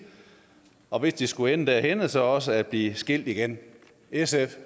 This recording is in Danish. og hvis det skulle ende derhenne så også at blive skilt igen sf